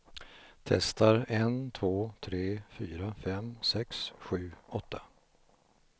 Testar en två tre fyra fem sex sju åtta.